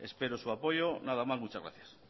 espero su apoyo nada más muchas gracias